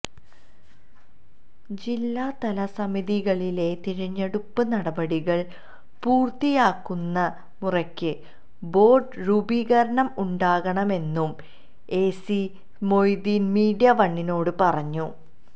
ജില്ലാതല സമിതികളിലെ തിരഞ്ഞെടുപ്പ് നടപടികള് പൂര്ത്തിയാകുന്ന മുറയ്ക്ക് ബോര്ഡ് രൂപീകരണം ഉണ്ടാകുമെന്നും എ സി മൊയ്തീന് മീഡിയവണിനോട് പറഞ്ഞു